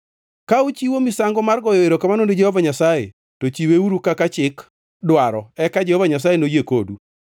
“Ka uchiwo misango mar goyo erokamano ni Jehova Nyasaye, to chiweuru kaka chik dwaro eka Jehova Nyasaye noyie kodu.